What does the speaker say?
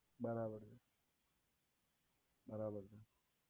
બરાબર છે બરાબર છે